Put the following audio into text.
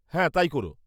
হ্যাঁ। তাই করো।